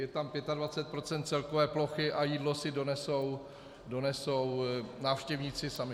Je tam 25 % celkové plochy a jídlo si donesou návštěvníci sami.